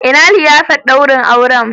Ina liyafar daurin aure?